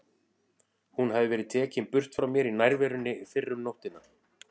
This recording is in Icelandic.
Hún hafði verið tekin burt frá mér í nærverunni fyrr um nóttina.